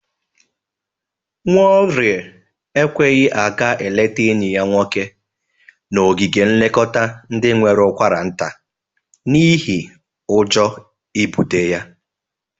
Nwaorie ekweghi aga eleta enyi ya nwoke n'ogige nlekọta ndị nwere ụkwaranta n'ihe ọjọ ibụte ya.